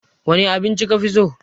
Wane abinci ka fi so?